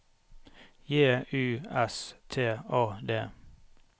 J U S T A D